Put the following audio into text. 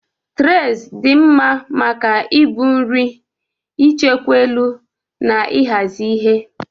Traịs dị mma maka ibu nri, ichekwa elu, na ịhazi ihe.